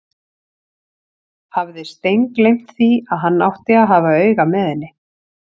Hafði steingleymt því að hann átti að hafa auga með henni!